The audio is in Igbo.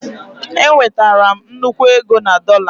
Enwetara m nnukwu ego na dollar